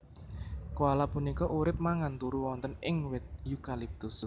Koala punika urip mangan turu wonten ing wit eukaliptus